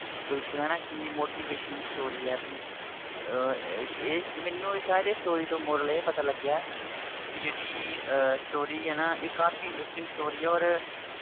ਬਿਲਕੁਲ ਹਨਾ ਕਿੰਨੀ motivational story ਹੈ ਵੀ ਅਹ ਅਹ ਇਹ ਮੈਨੂੰ ਸ਼ਾਇਦ ਇਹ story ਤੋਂ moral ਇਹ ਪਤਾ ਲੱਗਿਆ ਵੀ ਜਿਹੜੀ ਅਹ story ਆ ਨਾ ਇਹ ਕਾਫ਼ੀ interesting story ਆ ਔਰ